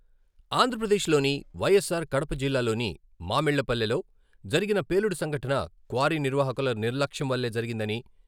ఆంధ్రప్రదేశ్ లోని వైఎస్సార్ కడప జిల్లాలోని మామిళ్లపల్లెలో జరిగిన పేలుడు సంఘటన క్వారీ నిర్వాహకుల నిర్లక్ష్యం వల్లే జరిగిందని....